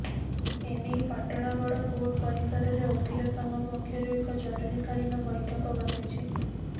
ଏନେଇ ପାଟଣାଗଡ କୋର୍ଟ ପରିସରରେ ଓକିଲ ସଂଘ ପକ୍ଷରୁ ଏକ ଜରୁରୀକାଳୀନ ବୈଠକ ବସିଛି